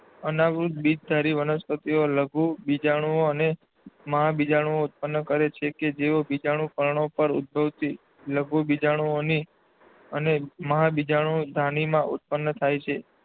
અનાવૃત્ત બીજધારી વનસ્પતિઓ લઘુબીજાણુઓ અને મહાબીજાણુઓ ઉત્પન્ન કરે છે કે જેઓ બીજાણુપર્ણો પર ઉદ્ભવતી લઘુબીજાણુધાની અને મહાબીજાણુધાનીમાં ઉત્પન્ન થાય છે.